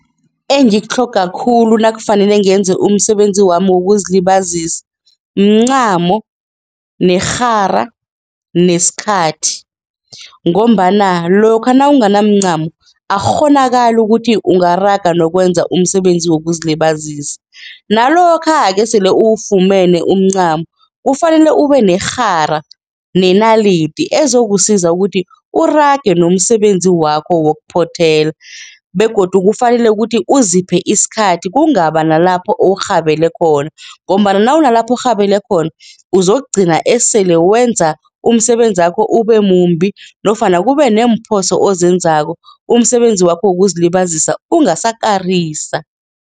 Engikutlhoga khulu nakufanele ngenze umsebenzi wami wokuzilibazisa, mncamo, nerhara, nesikhathi ngombana lokha nawunganamcamo akukghonakali ukuthi ungaraga nokwenza umsebenzi wokuzilibazisa. Nalokha esele ufumene umncamo kufanele ubenerhara nenalidi ezokusiza ukuthi urage nomsebenzi wakho wokuphothela begodu kufanele kuthi uziphe isikhathi kungaba nalapho urhabele khona ngombana nawunalapho urhabele khona uzokugcina esele wenza umsebenzi wakho ubemumbi nofana kube neemphoso ozenzako umsebenzi wakho wokuzilibazisa ungasakarisa.